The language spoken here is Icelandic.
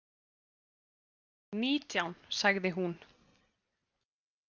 Nítján, sagði hún.